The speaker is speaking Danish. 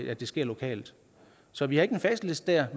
at det sker lokalt så vi har ikke en facitliste her